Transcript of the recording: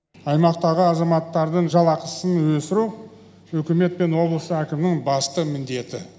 аймақтағы азаматтардың жалақысын өсіру үкімет пен облыс әкімдігінің басты міндеті